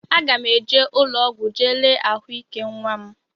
Aga m eje ụlọọgwụ jee lee ahụike nnwa m